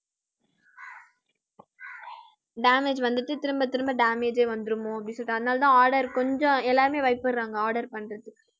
damage வந்துட்டு திரும்பத் திரும்ப damage ஏ வந்துருமோ அப்படின்னு சொல்லிட்டு அதனாலதான் order கொஞ்சம் எல்லாருமே பயப்படுறாங்க order பண்றதுக்கு